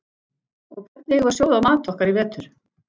Og hvernig eigum við að sjóða mat okkar í vetur?